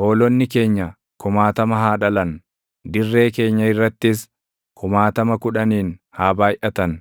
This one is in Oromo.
Hoolonni keenya kumaatama haa dhalan; dirree keenya irrattis kumaatama kudhaniin // haa baayʼatan;